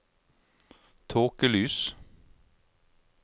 tåkelys